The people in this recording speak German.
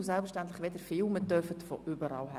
Filmen dürfen Sie selbstverständlich von überall her.